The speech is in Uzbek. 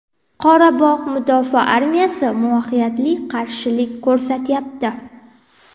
Qorabog‘ mudofaa armiyasi muvaffaqiyatli qarshilik ko‘rsatyapti.